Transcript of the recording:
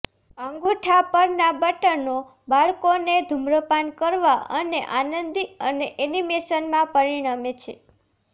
અંગૂઠા પરનાં બટનો બાળકોને ધૂમ્રપાન કરવા અને આનંદી અને એનિમેશનમાં પરિણમે છે